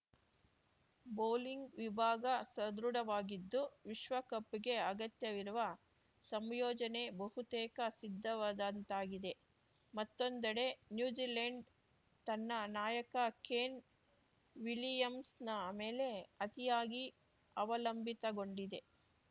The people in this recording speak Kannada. ಬೌಲಿಂಗ್‌ ವಿಭಾಗ ಸದೃಢವಾಗಿದ್ದು ವಿಶ್ವಕಪ್‌ಗೆ ಅಗತ್ಯವಿರುವ ಸಂಯೋಜನೆ ಬಹುತೇಕ ಸಿದ್ಧವಾದಂತಾಗಿದೆ ಮತ್ತೊಂದೆಡೆ ನ್ಯೂಜಿಲೆಂಡ್‌ ತನ್ನ ನಾಯಕ ಕೇನ್‌ ವಿಲಿಯಮ್ಸನ ಮೇಲೆ ಅತಿಯಾಗಿ ಅವಲಂಬಿತಗೊಂಡಿದೆ